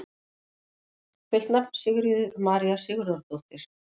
Fullt nafn: Sigríður María Sigurðardóttir